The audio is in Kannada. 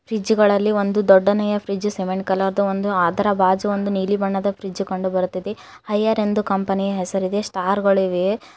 ಫ್ರಿಡ್ಜ್ ಗಳಲ್ಲಿ ಒಂದು ದೊಡ್ಡನೆಯ ಫ್ರಿಡ್ಜ್ ಸಿಮೆಂಟ್ ಕಲರ್ ದು ಒಂದು ಅದರ ಬಾಜು ಒಂದು ನೀಲಿ ಬಣ್ಣದ ಫ್ರಿಡ್ಜ್ ಕಂಡು ಬರುತ್ತಿದೆ ಹೈಯರ್ ಎಂದು ಕಂಪನಿಯ ಹೆಸರು ಇದೆ ಸ್ಟಾರ್ ಗಳಿವೆ.